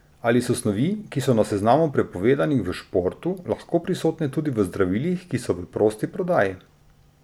Ali so snovi, ki so na seznamu prepovedanih v športu, lahko prisotne tudi v zdravilih, ki so v prosti prodaji?